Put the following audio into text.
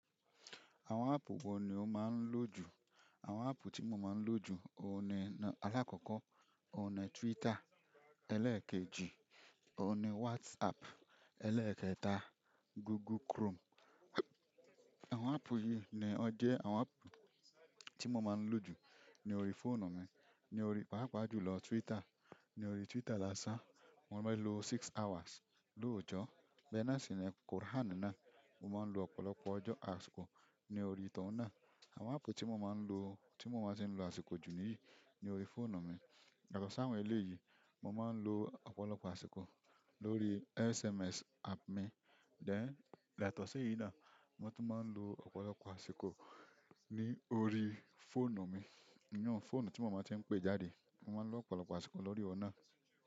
Àwọn app wo ni o maa n lo ju? Àwọn áàpù tí mo máa ń lò jù, òun ni alákọ̀ọ́kọ́, òun ni Twitter, ẹlẹ́ẹ̀keji, òun ni WhatsApp, ẹlẹ́ẹ̀kẹta, Google Chrome. Àwọn áàpù yìí ni ó jẹ́ àwọn áàpù tí mo máa ń lò jù ní orí fóònù mi. Ni orí pàápàá jùlọ, Twitter. Ni orí Twitter lásán, mo máa ń lo six hours lọ́jọ́. Bẹ́ẹ̀ náà sì ni Kùránì náà mo máa ń lo ọ̀pọ̀lọpọ̀ ọjọ́ àsìkò ní orí tohun náà. Àwọn áàpù tí mo máa ń lò, tí mo máa ń ti ń lo àsìkò jù níyìí, ní orí fóònù mi. Yatosi àwọn ẹlẹ́yìí, mo máa ń lo ọ̀pọ̀lọpọ̀ àsìkò lórí SMS app mi. Dẹ̀, yatosi èyí náà mo tún máa ń lo ọ̀pọ̀lọpọ̀ àsìkò ní orí fóònù mi. Iyun fóònù tí mo máa ti ń pè jáde, mo máa ń lo ọ̀pọ̀lọpọ̀ àsìkò lórí ọ̀nà.